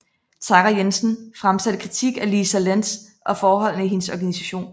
Tara Jensen fremsatte krititk af Lisa Lents og forholdene i hendes organisation